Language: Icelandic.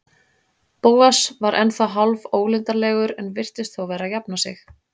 Bóas var ennþá hálfólundarlegur en virtist þó vera að jafna sig.